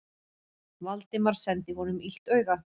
Valdimar sendi honum illt auga.